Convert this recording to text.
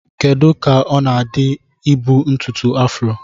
Kedu ka ọ na-adị ka ibu ntutu afro?